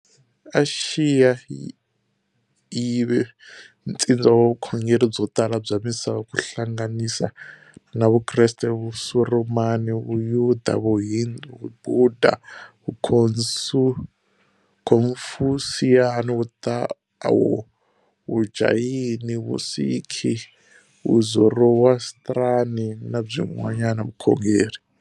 Axiya yive ntsindza wa vukhongeri byo tala bya misava ku hlanganisa na Vukreste, Vusurumani, Vuyuda, Vuhindu, Vubhudha, Vukhonfusiyani, Vutawo, Vujayini, Vusikhi, Vuzorowastrani, na byin'wana vukhongeri.